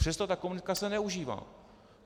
Přesto ta komunikace se neužívá.